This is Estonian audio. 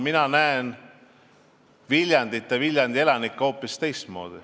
Mina näen Viljandit ja Viljandi elanikke hoopis teistmoodi.